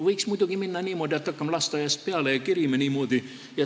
Võiks muidugi teha niimoodi, et hakkame lasteaiast peale kerima.